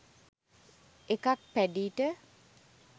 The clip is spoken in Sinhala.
එකක් පැඞීට